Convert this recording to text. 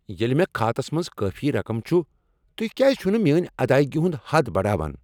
ییٚلہ مے٘ كھاتس منز کٲفی رقم چُھ ، تُہۍ کیٛاز چھِو نہٕ میٲنۍ ادائیگی ہُنٛد حد بڑاوان؟